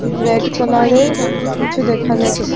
Red কালারের কিছু দেখা যাচ্ছে।